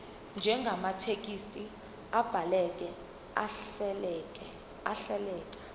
njengamathekisthi abhaleke ahleleka